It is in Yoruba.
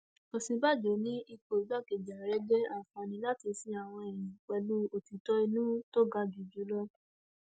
òsínbàjò ní ipò igbákejì ààrẹ jẹ àǹfààní láti sin àwọn èèyàn pẹlú òtítọ inú tó ga jù jù lọ